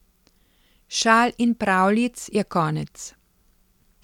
Šal in pravljic je konec!